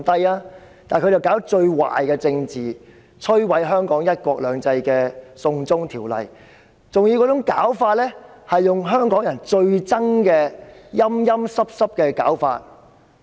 可是，她卻搞最壞的政治，提出摧毀香港"一國兩制"的"送中條例"，還要用香港人最討厭的"陰陰濕濕"手法。